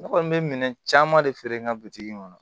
Ne kɔni bɛ minɛn caman de feere n ka bitigi in kɔnɔ